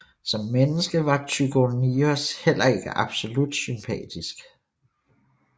Som menneske var Tychonius heller ikke absolut sympatetisk